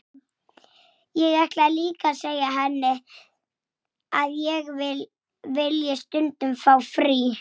Að espa hann svona upp!